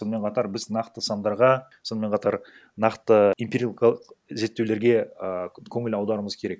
сонымен қатар біз нақты сандарға сонымен қатар нақты эмпирикалық зерттеулерге ааа көңіл аударуымыз керек